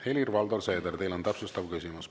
Helir-Valdor Seeder, teil on täpsustav küsimus.